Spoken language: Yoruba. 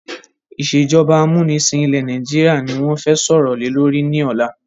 Ìsèjọba amúnisìn ilẹ̀ Nàìjíríà ni wọn fẹ sọ̀rọ̀ lè lórí ni ọ̀la.